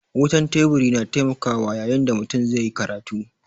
Wutan Teburi na taimakawa yayin da mutum zai yi karatu.